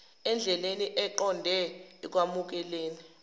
endleleni eqonde ekwamukeleni